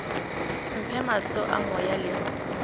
mphe mahlo a moya le